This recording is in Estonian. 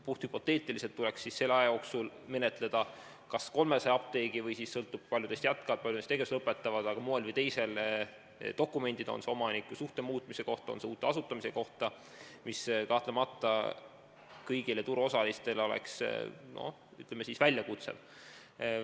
Puhthüpoteetiliselt tuleks selle aja jooksul menetleda 300 apteegi dokumendid omanikusuhte muutmise kohta või uue apteegi asutamise kohta, mis kahtlemata kõigile turuosalistele oleks, ütleme, väljakutse.